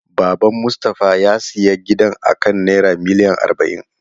Baban Mustafa ya siya gidan akan naira miliyan arba'in.